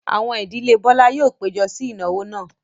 Àwọn ìdílé Bọ́lá yóò péjọ sí ìnáwó náà.